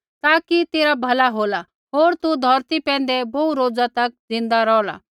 ताकि तेरा भला होला होर तू धौरती पैंधै बोहू रोज ज़िन्दा रौहला